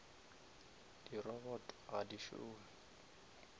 di robot ga di šome